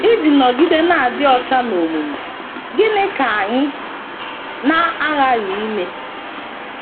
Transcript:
Iji nọgide na - adị ọcha n’omume, gịnị ka anyị na - aghaghị ime?